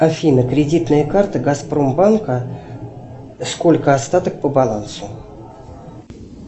афина кредитная карта газпромбанка сколько остаток по балансу